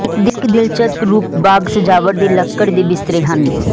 ਇੱਕ ਦਿਲਚਸਪ ਰੂਪ ਬਾਗ ਸਜਾਵਟ ਦੇ ਲੱਕੜ ਦੇ ਬਿਸਤਰੇ ਹਨ